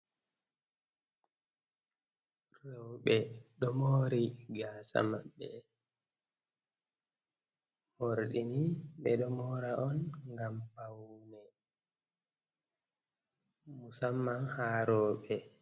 rewɓe ɗo mori gasa maɓɓe, morɗini ɓeɗo mora on ngam paune, musamman ha reuɓe.